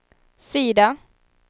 sida